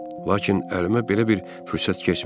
Lakin əlimə belə bir fürsət keçmirdi.